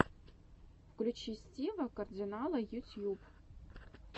включи стива кардинала ютьюб